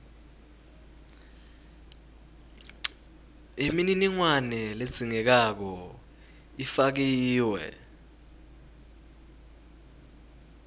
yemininingwane ledzingekako ifakiwe